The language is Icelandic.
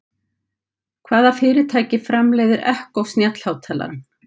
Hvaða fyrirtæki framleiðir Echo snjallhátalarann?